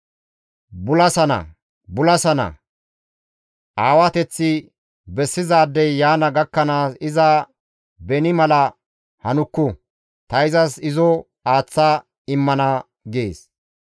Bulasana! Bulasana! Aawateththi bessizaadey yaana gakkanaas iza beni mala hanukku; ta izas izo aaththa immana› gees.